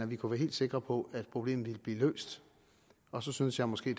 vi kunne være helt sikre på at problemet ville blive løst og så synes jeg måske